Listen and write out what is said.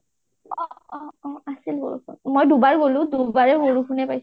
অ অ অ অ তাতে বৰষুণ মই দুবাৰ গলো দুবাৰেই বৰষুণ পালোঁ